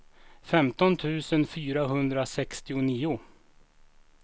femton tusen fyrahundrasextionio